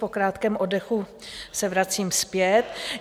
Po krátkém oddechu se vracím zpět.